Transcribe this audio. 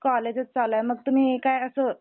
college चालू आहे मग तुम्ही काय असं